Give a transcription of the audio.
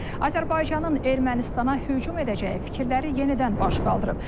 Azərbaycanın Ermənistana hücum edəcəyi fikirləri yenidən baş qaldırıb.